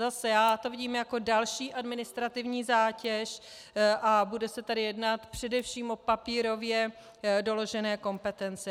Zase, já to vidím jako další administrativní zátěž a bude se tady jednat především o papírově doložené kompetence.